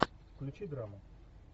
включи драму